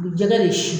jɛgɛ de si